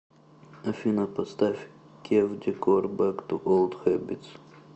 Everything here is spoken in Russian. афина поставь кев декор бэк ту олд хэбитс